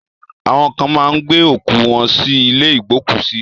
Awọn kan máa ń gbé òkú wọ́n sí ilé ìgbókùsí.